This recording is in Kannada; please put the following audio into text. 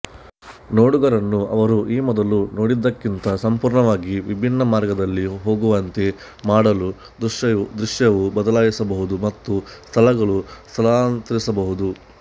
ನೋಡುಗರನ್ನು ಅವರು ಈ ಮೊದಲು ನೋಡಿದ್ದಕ್ಕಿಂತ ಸಂಪೂರ್ಣವಾಗಿ ವಿಭಿನ್ನ ಮಾರ್ಗದಲ್ಲಿ ಹೋಗುವಂತೆ ಮಾಡಲು ದೃಶ್ಯವು ಬದಲಾಯಿಸಬಹುದು ಮತ್ತು ಸ್ಥಳಗಳು ಸ್ಥಳಾಂತರಿಸಬಹುದು